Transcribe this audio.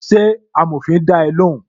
Ṣé amòfin da ẹ lóhùn?